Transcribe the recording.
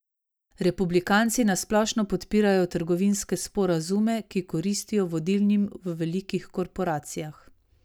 Republikanci na splošno podpirajo trgovinske sporazume, ki koristijo vodilnim v velikih korporacijah.